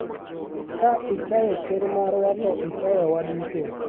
ka ichayo ker marwa to ichayowa waduto,